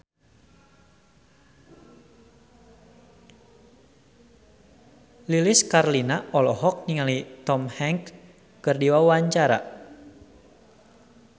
Lilis Karlina olohok ningali Tom Hanks keur diwawancara